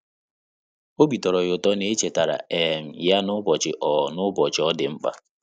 Obi tọ́rọ́ ya ụ́tọ́ na é chètàrà um ya n’ụ́bọ̀chị̀ ọ́ n’ụ́bọ̀chị̀ ọ́ dị̀ mkpa.